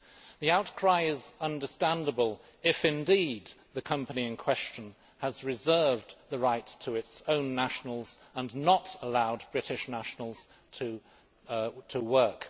The outcry is understandable if indeed the company in question has reserved the right to its own nationals and not allowed British nationals to work.